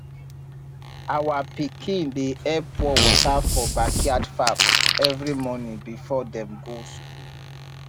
our pikin dey help pour water for backyard farm every morning before dem go school